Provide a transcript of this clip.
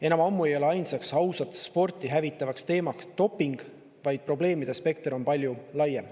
Enam ammu ei ole ainus ausat sporti hävitav tegur doping, vaid probleemide spekter on palju laiem.